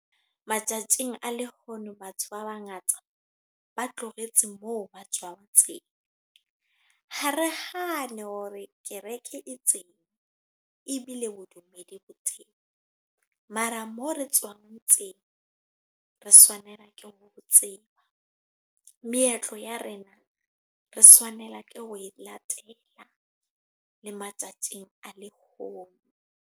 Matsatsing a lehono batho ba bangata, ba tlohetse moo ba tshwang tseo. Ha re hane hore kereke e teng, ebile bodumedi bo teng. Mara moo re tswang teng, re tshwanela ke ho tseba. Meetlo ya rena, re tshwanela ke ho e latela. Le matsatsing a lehono.